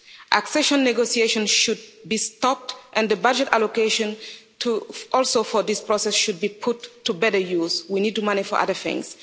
Accession negotiations should be stopped and the budget allocation also for this process should be put to better use. We need the money for other things.